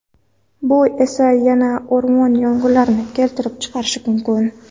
Bu esa yana o‘rmon yong‘inlarini keltirib chiqarishi mumkin.